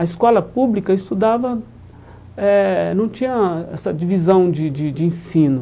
A escola pública estudava eh não tinha essa divisão de de de ensino.